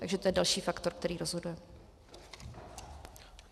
Takže to je další faktor, který rozhoduje.